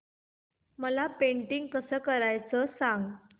मला पेंटिंग कसं करायचं सांग